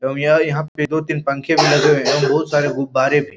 एवं यहाँ पे दो-तीन पंखे भी लगे हुए हैं बहुत सारे गुब्बारे भी --